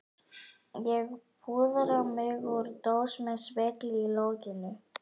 Ég púðra mig úr dós með spegli í lokinu.